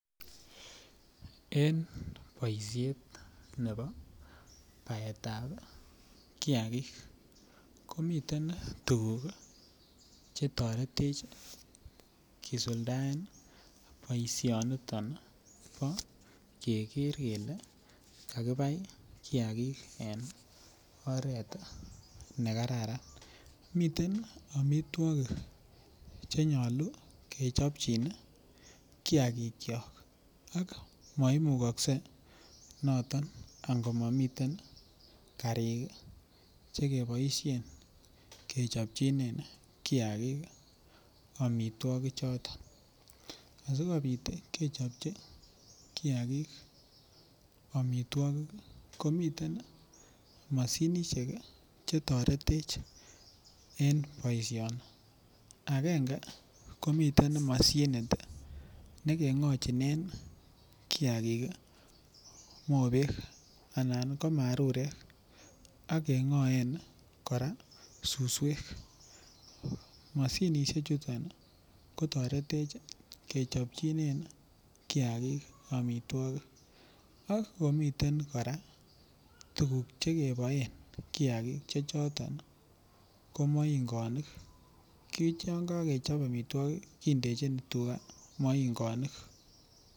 En boisiet ne bo baetab kiagik komiten tuguk chetoret kisuldaen boisionito keker kele kakibai kiagik en oret nekararan ,miten amitwokik chenyolu kechopchin kiagikyok ako maimukokse noton ango momiten karik chekeboisien kechopchinen kiagik amitwokichhoton asikobit kechopchi kiagik amitwokichoton komiten mashuinishek chetoretech en boisioni akenge komiten mashinishek nekeng'ochinen kiagik mobek anan ko marurek ak keng'oen suswek mashinishechuton kotoretech kechpchinen kiagik amitwokik, ak komiten kora tukuk chekeboen kiagik chechoto ko moingonik yongokechop amitwokik kindechin moingonik.